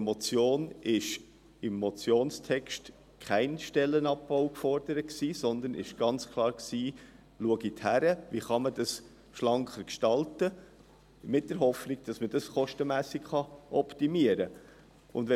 Doch im Motionstext wurde kein Stellenabbau gefordert, sondern es wurde gefordert, zu schauen, wie man das Ganze schlanker gestalten kann, in der Hoffnung, dass man das Ganze kostenmässig optimieren kann.